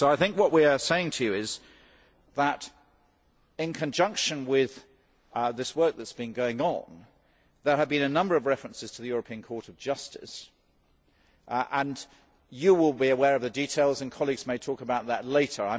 What we are saying to you is that, in conjunction with this work that has been going on, there have been a number of references to the European Court of Justice you will be aware of the details, and colleagues may talk about that later.